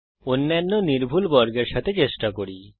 অন্যান্য নির্ভুল বর্গের সাথে চেষ্টা করি